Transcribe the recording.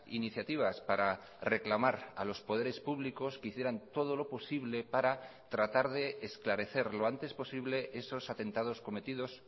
iniciativas para reclamar a los poderes públicos que hicieran todo lo posible para tratar de esclarecer lo antes posible esos atentados cometidos